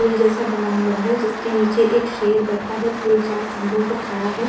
पुल जैसा बना हुआ है जिसके नीचे एक शेर बैठा है। पुल चार खम्भों पर खड़ा है।